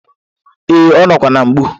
Ee, ọ ka nọkwa na-mgbu.